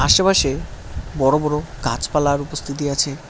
আশেপাশে বড় বড় গাছপালার উপস্থিতি আছে।